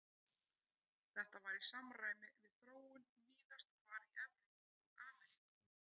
Þetta var í samræmi við þróun víðast hvar í Evrópu og Ameríku.